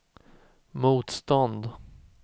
motstånd